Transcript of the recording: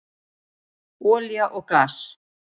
Olía og gas